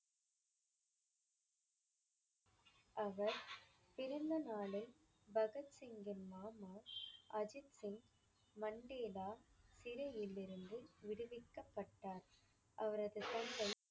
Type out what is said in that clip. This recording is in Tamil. அவர் பிறந்தநாளில் பகத் சிங்கின் மாமா அஜித் சிங் மண்டேலா சிறையிலிருந்து விடுவிக்கப்பட்டார். அவரது தந்தை